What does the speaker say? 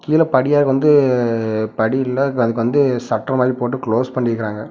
கீளெ படியால வந்து படியுள்ள த வந்து சட்ற் மாரி போட்டு க்ளோஸ் பண்ணிருக்காங்க.